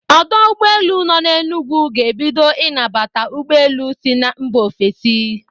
Ọdọ ụgbọelu nọ n'Énùgwù ga-ebido ịnabata ụgbọelu si mba ofesi.